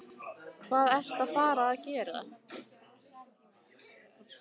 Hvað ertu að fara að gera?